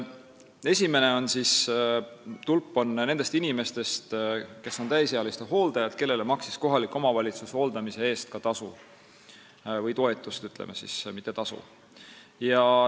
Esimene tulp tähistab neid inimesi, kes on täisealiste hooldajad ja kellele kohalik omavalitsus maksis hooldamise eest tasu või toetust, ütleme, mitte tasu.